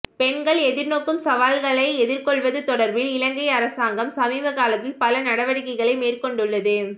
பெண்கள் எதிர்நோக்கும் சவால்களை எதிர்கொள்வது தொடர்பில் இலங்கை அரசாங்கம் சமீப காலத்தில் பல நடவடிக்கைகளை மேற்கொண்டுள்ளது